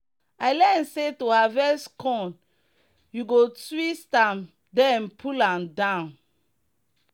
i learn say to harvest corn you go twist am then pull am down.